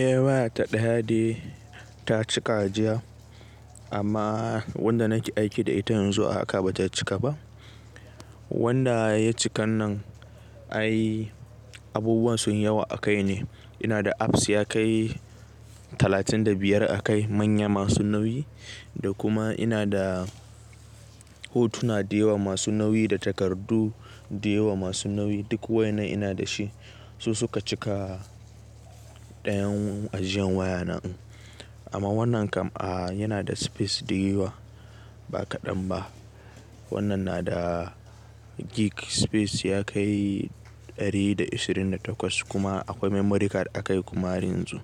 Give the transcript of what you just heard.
Eh waya ta ɗaya dai ta cika jiya amma wadda nake aiki da ita yanzu a haka bata cika ba. Wadda ya cika nan ai abubuwan sun yawa a kai ne. Ina da apps ya kai talatin da biyar a kai manya masu nauyi da kuma ina da hotuna da yawa masu nauyi da takardu da yawa masu nauyi. Duk waɗannan ina da shi su suka cika ɗayan ajiyan waya na. Amma wannan kam a yana da space da yawa ba kaɗan ba. Wannan na da gig space ya kai ɗari da ashirin da takwas kuma akwai memory card a kai kuma har yanzu